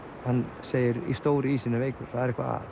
hann segir stóri ísinn er veikur það er eitthvað